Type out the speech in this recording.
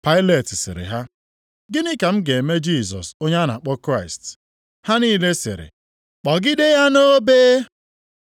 Pailet sịrị ha, “Gịnị ka m ga-eme Jisọs onye a na-akpọ Kraịst?” Ha niile sịrị, “Kpọgide ya nʼobe!”